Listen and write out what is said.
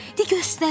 De, göstərin.